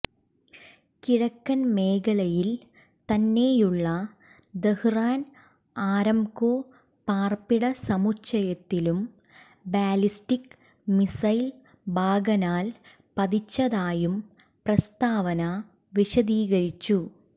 കിഴക്കൻ മേഖലയിൽ തന്നെയുള്ള ദഹ്റാൻ ആരാംകോ പാർപ്പിട സമുച്ചയത്തിലും ബാലിസ്റ്റിക് മിസൈൽ ഭാഗനാൽ പതിച്ചതായും പ്രസ്താവന വിശദീകരിച്ചു